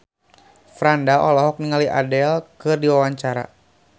Franda olohok ningali Adele keur diwawancara